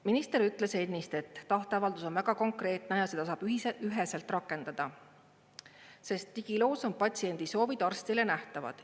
Minister ütles ennist, et tahteavaldus on väga konkreetne ja seda saab üheselt rakendada, sest digiloos on patsiendi soovid arstile nähtavad.